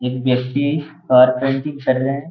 ये व्यक्ति कार्पेंटिंग कर रहे हैं।